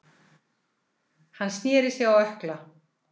Hann snéri sig á ökkla.